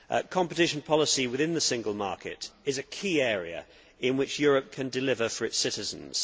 Competition policy within the single market is a key area in which Europe can deliver for its citizens.